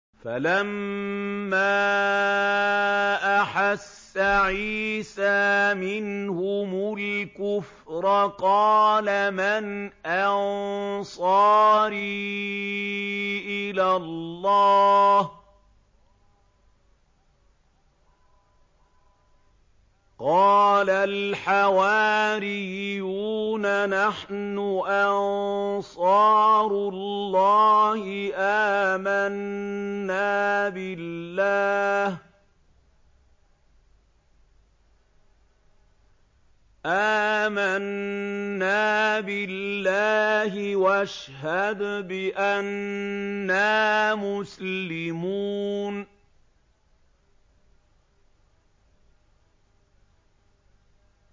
۞ فَلَمَّا أَحَسَّ عِيسَىٰ مِنْهُمُ الْكُفْرَ قَالَ مَنْ أَنصَارِي إِلَى اللَّهِ ۖ قَالَ الْحَوَارِيُّونَ نَحْنُ أَنصَارُ اللَّهِ آمَنَّا بِاللَّهِ وَاشْهَدْ بِأَنَّا مُسْلِمُونَ